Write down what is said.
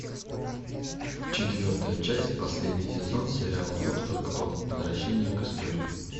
четвертая часть последний сезон сериала доктор кто возвращение к истории